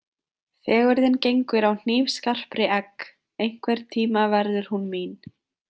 Fegurðin gengur á hnífskarpri egg, einhvern tíma verður hún mín.